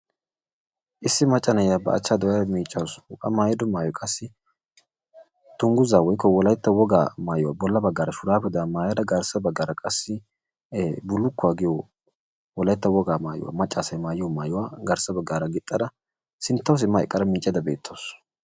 Issi macca naa'iya ba achchaa dooyada miccawusu. A maayido maayoy qassi dunguuzza woykko wolaytta wogaa maayuwaa bolla baggara shurabetan maayada garssa baggara qassi bullukuwaa giyo wolaytta wogaa maayuwa macca asaay maayiyo maayuwaa garssa baggara giixada sinttawu simma eqqada miiccayda betawusu.